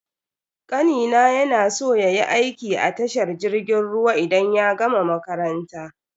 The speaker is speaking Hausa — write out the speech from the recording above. Kanina ya na so yayi aiki a tashar jirgin ruwa idan ya gama makaranta.